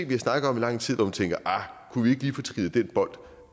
vi har snakket om i lang tid og hvor man tænker ahr kunne vi ikke lige få trillet den bold